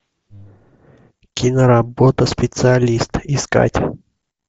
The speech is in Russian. киноработа специалист искать